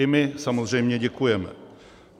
I my samozřejmě děkujeme.